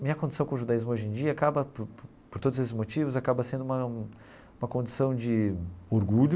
Minha condição com o judaísmo hoje em dia, acaba por todos esses motivos, acaba sendo uma uma condição de orgulho,